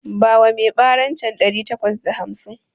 Bawa mai baran can ɗari takwas da hamsin